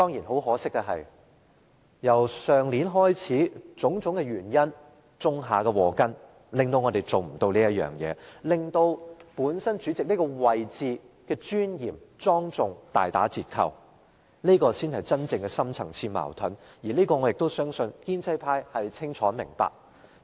可惜的是，由去年開始，種種原因種下禍根，以致無法做到這一點，令主席這個位置的尊嚴及莊重大打折扣，這才是真正的深層次矛盾，我相信建制派對此清楚明白。